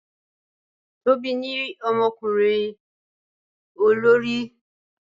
Tobi ní omokurin olori